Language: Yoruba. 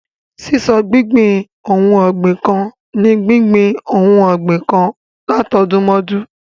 Ṣíṣọ̀gbìn ohun ọ̀gbìn kan ni gbíngbin ohun ọgbìn kan látọdúnmọ́dún.